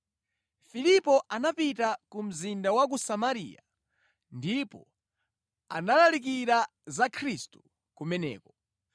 Filipo anapita ku mzinda wa ku Samariya ndipo analalikira za Khristu kumeneko.